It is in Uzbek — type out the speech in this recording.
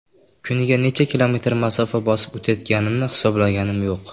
Kuniga necha kilometr masofa bosib o‘tayotganimni hisoblaganim yo‘q.